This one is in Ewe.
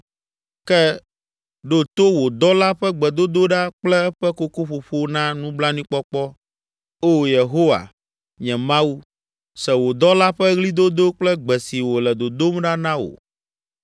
Ke, ɖo to wò dɔla ƒe gbedodoɖa kple eƒe kokoƒoƒo na nublanuikpɔkpɔ, O Yehowa, nye Mawu. Se wò dɔla ƒe ɣlidodo kple gbe si wòle dodom ɖa na wò.